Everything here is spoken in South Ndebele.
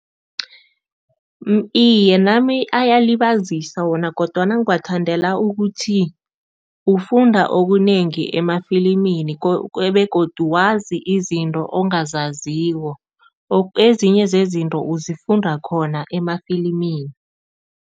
Iye, nami ayalibaziseka wona kodwana ngiwathandela ukuthi ufunda okunengi emafilimini begodu wazi izinto ongazaziko. Ezinye zezinto uzifunda khona emafilimini.